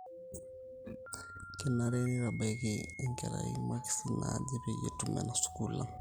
kenare neitabaiki enkerai makisi naaje peyie etum ena sukuul ang